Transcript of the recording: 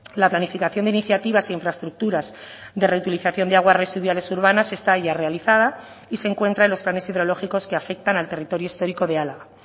la planificación de iniciativas y infraestructuras de reutilización de aguas residuales urbanas está ya realizada y se encuentra en los planes hidrológicos que afectan al territorio histórico de álava